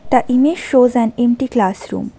The image shows an empty classroom.